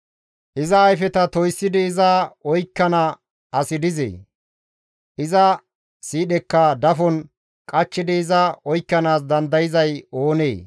Iza ayfeta toyssidi iza oykkana asi dizee? iza siidhekka dafon qachchidi iza oykkanaas dandayzay oonee?